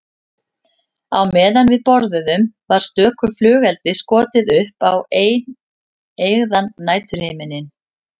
Á meðan við borðuðum var stöku flugeldi skotið upp á eineygðan næturhimininn.